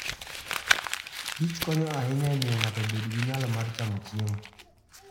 Kich konyo ahinya e miyo ng'ato obed gi nyalo mar chamo chiemo.